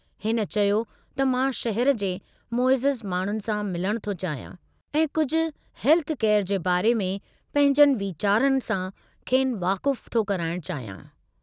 हिन चयो त मां शहर जे मुइज़ज़ माण्डुनि सां मिलण थो चाहियां ऐं कुझ हेल्थ केयर जे बारे में पंहिंजनि वीचारनि सां खेनि वाकुफ़ु थो कराइणु चाहियां।